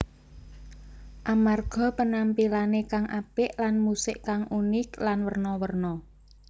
Amarga penampilané kang apik lan musik kang unik lan werna werna